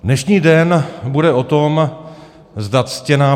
Dnešní den bude o tom, zda ctěná